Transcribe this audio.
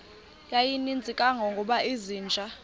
yayininzi kangangokuba izinja